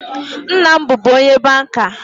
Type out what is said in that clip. Nna m bụbu onye banka